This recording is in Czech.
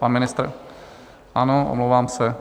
Pan ministr, ano, omlouvám se.